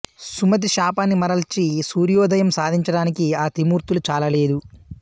సుమతి శాపాన్ని మరల్చి సూర్యోదయం సాధించటానికి ఆ త్రిమూర్తులు చాలలేదు